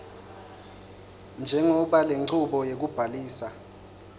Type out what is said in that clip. njengobe lenchubo yekubhalisa